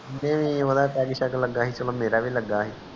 peg ਸ਼ੇਗ ਲਗਾ ਸੀ ਮੇਰਾ ਵੀ ਲਗਾ ਸੀ